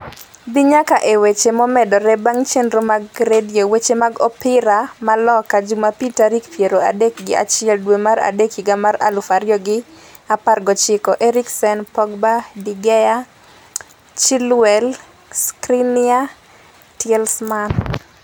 dhi nyaka e weche momedore mag chenro mag Radio Weche mag Opira Loka Jumapil tarik piero adek gi achiel dwe mar adek higa mar aluf ariyo gi apar gochiko: Eriksen, Pogba, De Gea, Chilwell, Skriniar, Tielemans